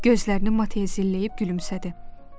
Gözlərini mat etzilləyib gülümsədi.